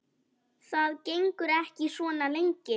Það gengur ekki svona lengi.